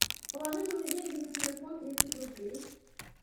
положите мне деньги на телефон тридцать рублей